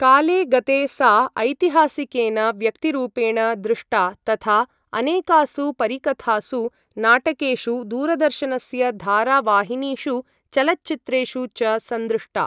काले गते सा ऐतिहासिकेन व्यक्तिरूपेण दृष्टा तथा अनेकासु परिकथासु, नाटकेषु, दूरदर्शनस्य धारावाहिनीषु, चलच्चित्रेषु च संदृष्टा।